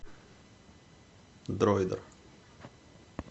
дроидер